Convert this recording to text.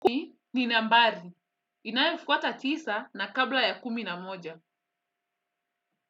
Ni nambari. Inayofuata tisa na kabla ya kumi na moja.